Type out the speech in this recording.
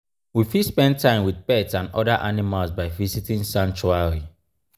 we fit spend time with pets and oda animals by visiting sanctuary